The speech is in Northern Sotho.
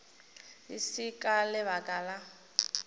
e se ka lebaka la